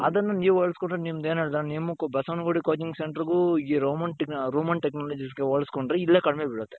ಅದುನ್ನ ನೀವು ಹೋಲುಸ್ಕೊಂಡ್ರೆ ನಿಮ್ದು ಏನು ಬಸವನಗುಡಿ coaching center ಗು ಈ Roman Technologies ಹೋಲುಸ್ಕೊಂಡ್ರೆ ಇಲ್ಲೇ ಕಡಿಮೆ ಬೀಳುತ್ತೆ.